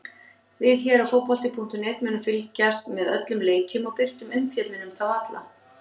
Við hér á fótbolti.net munum fylgjast með öllum leikjunum og birta umfjöllun um þá alla.